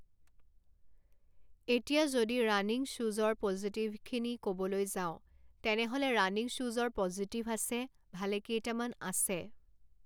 এতিয়া যদি ৰাণিং শ্বুজৰ পজিটিভখিনি ক'বলৈ যাওঁ তেনেহ'লে ৰানিং শ্বুজৰ পজিটিভ আছে ভালেকেইটামান আছে